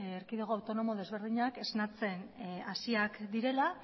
erkidego autonomo desberdinak esnatzen hasiak direla